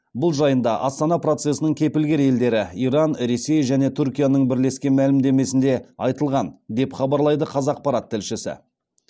бұл жайында астана процесінің кепілгер елдері иран ресей және түркияның бірлескен мәлімдемесінде айтылған деп хабарлайды қазақпарат тілшісі